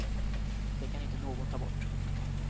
Det kan inte någon ta bort.